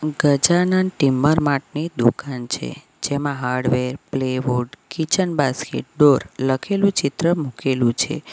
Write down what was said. Gajanand timber mart ની દુકાન છે જેમાં hardware plyboard kitchen basket door લખેલું ચિત્ર મૂકેલું છે.